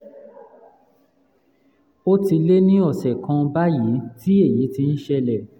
ó ti lé ní ọ̀sẹ̀ kan báyìí tí èyí ti ń ṣẹlẹ̀